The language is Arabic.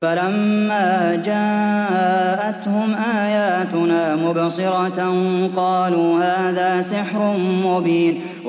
فَلَمَّا جَاءَتْهُمْ آيَاتُنَا مُبْصِرَةً قَالُوا هَٰذَا سِحْرٌ مُّبِينٌ